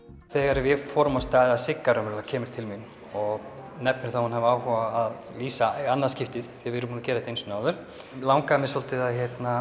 þegar við fórum af stað eða Sigga raunverulega kemur til mín og nefnir það að hún hafi áhuga á að lýsa í annað skipti því við erum búin að gera þetta einu sinni áður langaði henni svolítið að